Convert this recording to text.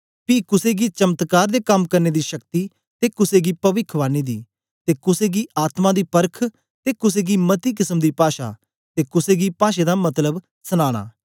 पी कुसे गी चमत्कार दे कम करने दी शक्ति ते कुसे गी पविखवाणी दी ते कुसे गी आत्मा दी परख ते कुसे गी मती किसम दी पाषा ते कुसे गी पाषें दा मतलब सनाना